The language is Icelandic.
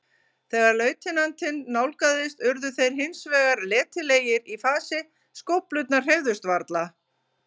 Þegar lautinantinn nálgaðist urðu þeir hins vegar letilegir í fasi, skóflurnar hreyfðust varla.